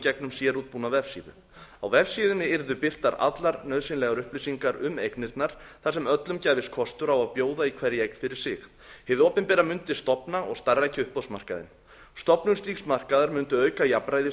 gegnum sérútbúna vefsíðu á vefsíðunni yrðu birtar allar nauðsynlegar upplýsingar um eignirnar þar sem öllum gæfist kostur á að bjóða í hverja eign fyrir sig hið opinbera mundi stofna og starfrækja uppboðsmarkaðinn stofnun slíks markaðar mundi auka jafnræði í